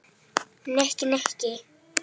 Nikki, Nikki!